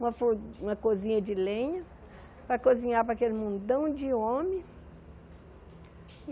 Uma for uma cozinha de lenha para cozinhar para aquele mundão de homem.